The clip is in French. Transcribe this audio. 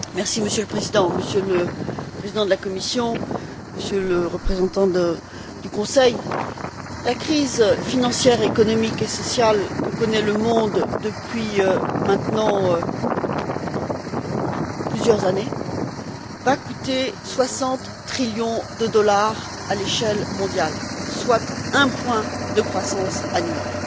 Monsieur le Président, Monsieur le Président de la Commission, Monsieur le représentant du Conseil, la crise financière, économique et sociale que connaît le monde depuis maintenant plusieurs années va coûter 60 trillions de dollars à l'échelle mondiale, soit un point de croissance annuelle.